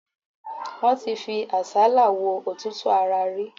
Wọ́n ti fi àsálà wo òtútù ara rí.